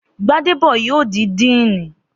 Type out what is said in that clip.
Gbádébọ̀ yóò di díìnì